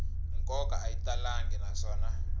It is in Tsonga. nkoka a yi talangi naswona